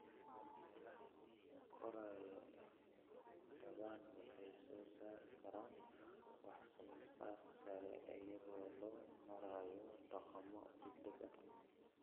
Meelaha koraya ee dadban waxay soo saari karaan wax soo saar sare iyadoo loo marayo dhaqamo degdeg ah.